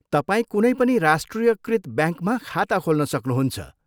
तपाईँ कुनै पनि राष्ट्रियकृत ब्याङ्कमा खाता खोल्न सक्नुहुन्छ।